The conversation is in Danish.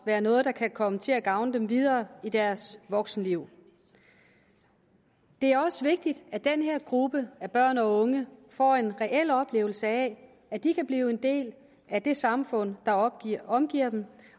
være noget der kan komme til at gavne dem videre i deres voksenliv det er også vigtigt at den her gruppe af børn og unge får en reel oplevelse af at de kan blive en del af det samfund der omgiver dem